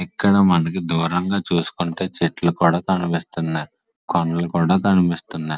ఇక్కడ మనకు దూరంగా చూసుకుంటే చెట్లు కూడా కనిపిస్తున్నాయ్. కొండలు కూడా కనిపిస్తున్నాయ్.